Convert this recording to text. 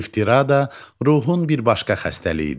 İftira da ruhun bir başqa xəstəliyidir.